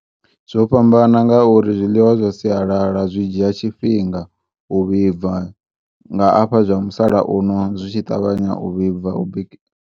Zwo fhambana ngauri zwiḽiwa zwa sialala zwi dzhia tshifhinga u vhibva, nga afha zwa musala uno zwi tshi ṱavhanya u vhibva ubiki .